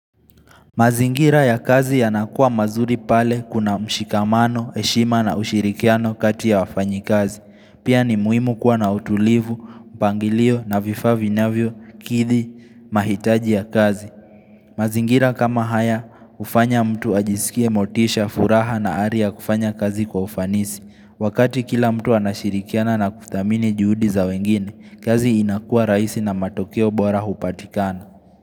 Mazingira ya kazi yanakuwa mazuri pale kuna mshikamano, heshima na ushirikiano kati ya wafanyikazi. Pia ni muhimu kuwa na utulivu, upangilio na vifaa vinavyo kidhi mahitaji ya kazi. Mazingira kama haya hufanya mtu ajisikie motisha, furaha na hali ya kufanya kazi kwa ufanisi. Wakati kila mtu anashirikiana na kuthamini juhudi za wengine, kazi inakua rahisi na matokeo bora hupatikana.